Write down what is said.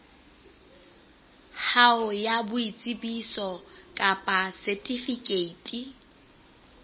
hao ya boitsebiso kapa setifikeiti